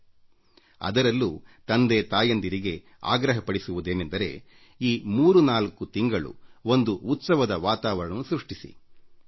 ಹೀಗಾಗಿ ನಾನು ತಂದೆತಾಯಿಯರಿಗೆ ಈ ಮೂರು ನಾಲ್ಕು ತಿಂಗಳ ಅವಧಿಯಲ್ಲಿ ಹಬ್ಬದ ವಾತಾವರಣ ಸೃಷ್ಟಿಸುವಂತೆ ಮನವಿ ಮಾಡುತ್ತೇನೆ